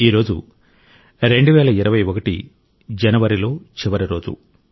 ఈ రోజు 2021 జనవరిలో చివరి రోజు